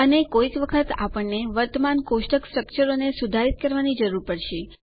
અને કોઈક વખતે અમને વર્તમાન કોષ્ટક સ્ટ્રકચરોને સુધારિત કરવાની જરૂર પડશે